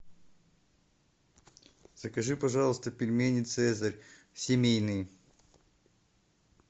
закажи пожалуйста пельмени цезарь семейные